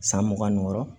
San mugan ni wɔɔrɔ